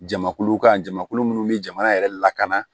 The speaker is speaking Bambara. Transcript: Jamakulu ka jamakulu munnu bɛ jamana yɛrɛ lakana